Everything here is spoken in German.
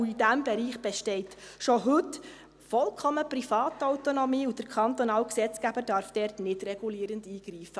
In diesem Bereich besteht schon heute vollkommene Privatautonomie, und der kantonale Gesetzgeber darf dort nicht regulierend eingreifen.